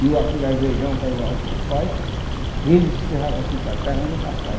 viu aquele arvejão, que era a o Paito, ele espirrava assim para trás, mas não passava.